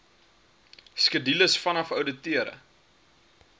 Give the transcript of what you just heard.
skedules vanaf ouditeure